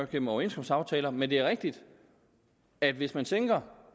gennem overenskomstaftaler men det er rigtigt at hvis man sænker